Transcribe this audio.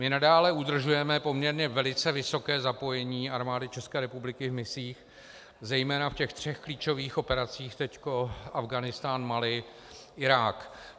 My nadále udržujeme poměrně velice vysoké zapojení Armády České republiky v misích, zejména v těch třech klíčových operacích, teď Afghánistán, Mali, Irák.